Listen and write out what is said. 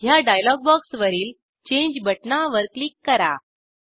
ह्या डायलॉग बॉक्सवरील चेंज बटणावर क्लिक करा